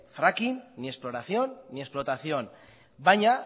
fracking ni exploración ni explotación baina